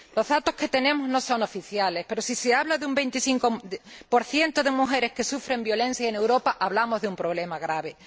Los datos que tenemos no son oficiales, pero si se habla de un 25 de mujeres que sufren violencia en Europa, hablamos de un problema grave